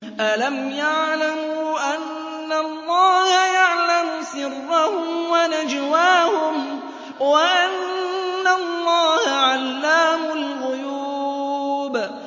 أَلَمْ يَعْلَمُوا أَنَّ اللَّهَ يَعْلَمُ سِرَّهُمْ وَنَجْوَاهُمْ وَأَنَّ اللَّهَ عَلَّامُ الْغُيُوبِ